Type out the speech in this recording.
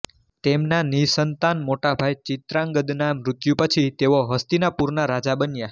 તેમના નિસંતાન મોટા ભાઈ ચિત્રાંગદના મૃત્યુ પછી તેઓ હસ્તિનાપુરના રાજા બન્યા